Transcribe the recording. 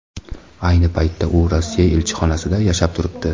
Ayni paytda u Rossiya elchixonasida yashab turibdi.